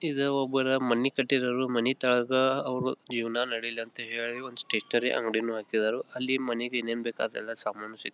ಇದು ಒಬ್ಬರು ಮನಿ ಕಟ್ಟಿರರು ಮನಿ ತಾಗ ಅವ್ರು ಜೀವನ ನಡೀಲಿ ಅಂತ ಹೇಳಿ ಒಂದ್ ಸ್ಟೇಷನರಿ ಅಂಗಡಿ ಹಾಕಿದಾರು ಅಲ್ಲಿ ಮನೆಗ್ ಏನೇನು ಸಾಮಾನು ಬೇಕು ಅದೆಲ್ಲ ಸಾಮಾನು ಸಿಗ್ --